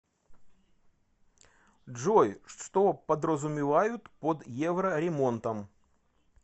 джой что подразумевают под евроремонтом